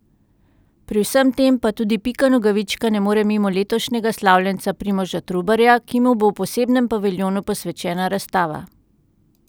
Pri vsem tem pa tudi Pika Nogavička ne more mimo letošnjega slavljenca Primoža Trubarja, ki mu bo v posebnem paviljonu posvečena razstava.